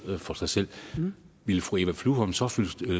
for sig selv ville fru eva flyvholm så